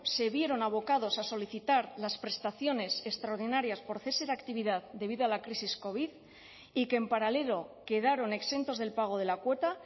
se vieron abocados a solicitar las prestaciones extraordinarias por cese de actividad debido a la crisis covid y que en paralelo quedaron exentos del pago de la cuota